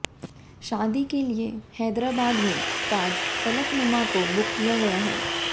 शादी के लिए हैदराबाद में ताज फलकनुमा को बुक किया गया है